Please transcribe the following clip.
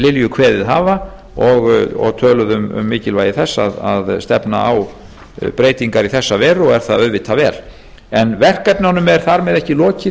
lilju kveðið hafa og töluðu um mikilvægi þess að stefna á breytingar í þessa veru og er það auðvitað vel verkefnunum er þar með ekki lokið